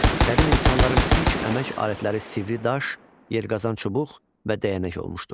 Qədim insanların ilk əmək alətləri sivri daş, yergazan çubuq və dəyənək olmuşdur.